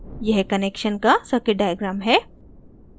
यह connection का circuit diagram है